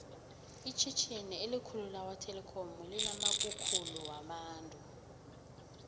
itjhitjhini elikhulu lakwa telikhomu linamakukhulu wabantu